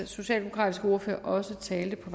socialdemokratiske ordfører også talte på